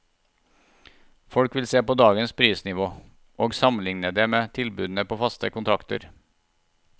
Folk vil se på dagens prisnivå, og sammenligne det med tilbudene på faste kontrakter.